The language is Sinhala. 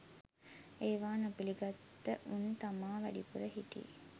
ඒව නොපිළිගත්ත උන් තමා වැඩිපුර හිටියෙ